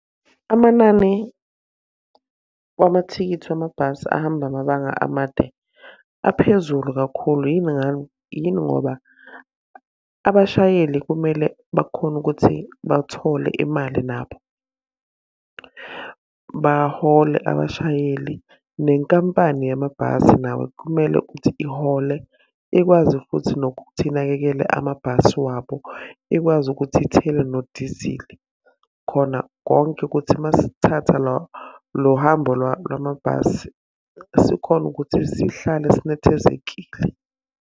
Amanani wamathikithi wamabhasi ahamba amabanga amade, aphezulu kakhulu. Yini yini ngoba? Abashayeli kumele bakhone ukuthi bathole imali nabo. Bahole abashayeli, nenkampani yamabhasi nawe kumele ukuthi ihole ikwazi futhi nokuthi inakekele amabhasi wabo. Ikwazi ukuthi ithele nodizili, khona konke ukuthi uma isithatha lo hambo lwamabhasi, sikhone ukuthi sihlale sinethezekile.